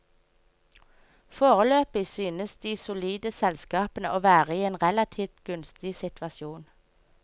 Foreløpig synes de solide selskapene å være i en relativt gunstig situasjon.